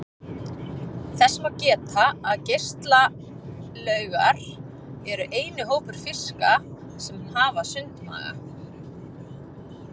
Þess má geta að geislauggar eru eini hópur fiska sem hafa sundmaga.